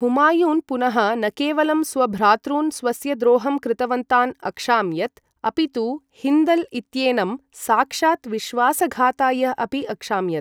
हुमायून् पुनः न केवलं स्वभ्रातॄन् स्वस्य द्रोहं कृतवन्तान् अक्षाम्यत्, अपितु हिन्दल् इत्येनं साक्षात् विश्वासघाताय अपि अक्षाम्यत्।